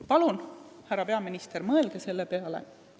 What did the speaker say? Palun, härra peaminister, mõelge selle peale!